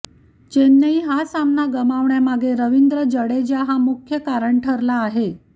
चेन्नईने हा सामना गमावण्यामागे रवींद्र जाडेजा हा मुख्य कारण ठरला आहे